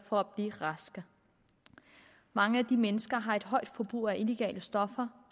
for at blive raske mange af de mennesker har et højt forbrug af illegale stoffer